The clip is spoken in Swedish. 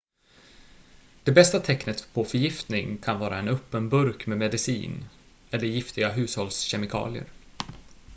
det bästa tecknet på förgiftning kan vara en öppen burk med medicin eller giftiga hushållskemikalier